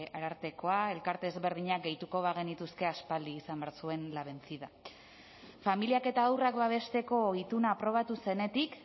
arartekoa elkarte ezberdinak gehituko bagenituzke aspaldi izan behar zuen la vencida familiak eta haurrak babesteko ituna aprobatu zenetik